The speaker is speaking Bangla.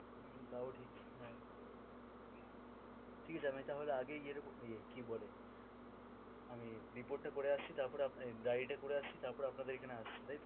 হম হম তাও ঠিক অ্যাঁ, ঠিক আছে আমি তাহলে আগেই গিয়ে এরকম ইয়ে কি বলে আমি report টা করে আসি তারপর আপনার এই diary টা করে আসি তারপর আপনাদের এখানে আপনাদের এইখানে আসব তাইতো